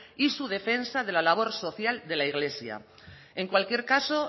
y su defensa de la labor social de la iglesia en cualquier caso